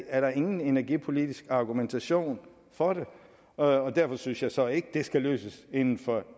er der ingen energipolitisk argumentation for det og derfor synes jeg så ikke det skal løses inden for